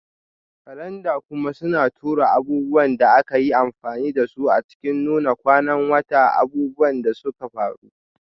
Kalanda kuma suna tura abubuwan da aka yi amfani da su a cikin Nuna kwanan wata, abubuwan da suka faru,